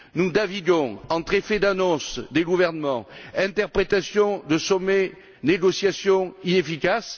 Nous naviguons entre effets d'annonce des gouvernements, interprétation de sommets et négociations inefficaces.